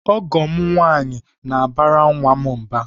Ọgọ m nwaanyị na-abara nwa m mba.